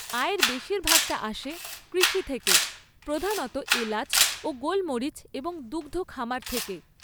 আয়ের বেশিরভাগটা আসে কৃষি থেকে, প্রধানত এলাচ ও গোলমরিচ এবং দুগ্ধ খামার থেকে।